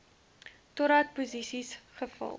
totdat posisies gevul